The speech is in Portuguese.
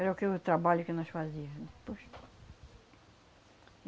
Era o que o trabalho que nós fazia. Aí depois,